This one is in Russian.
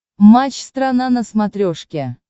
матч страна на смотрешке